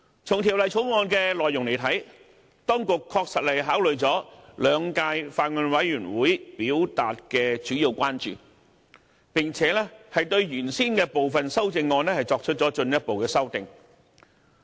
從《條例草案》的內容來看，當局確實考慮了兩屆法案委員會表達的主要關注，並且對原先的部分修正案作出了進一步修正。